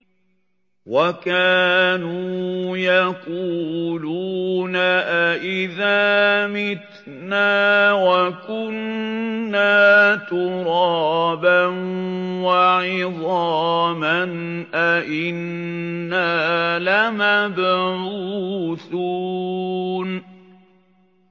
وَكَانُوا يَقُولُونَ أَئِذَا مِتْنَا وَكُنَّا تُرَابًا وَعِظَامًا أَإِنَّا لَمَبْعُوثُونَ